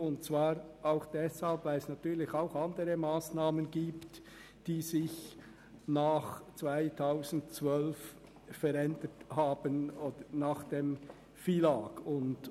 Hinzu kommt, dass es auch andere Bereiche gibt, die sich nach der Einführung des FILAG beziehungsweise nach 2012 verändert haben.